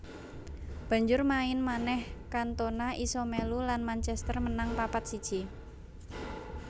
Banjur main manèh Cantona isa melu lan Manchester menang papat siji